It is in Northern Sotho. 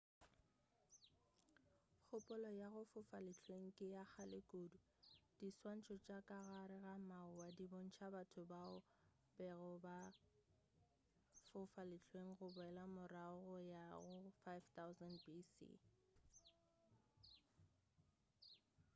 kgopolo ya go fofa lehlweng ke ya kgale kudu diswantšho tša ka gare ga mawa di bontša batho bao ba bego fa fofa lehlweng go boela morago go ya go 5000 bc